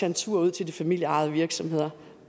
en tur ud til de familieejede virksomheder